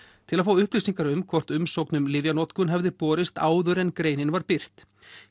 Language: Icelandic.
til að fá upplýsingar um hvort umsókn um lyfjanotkunina hefði borist áður en greinin var birt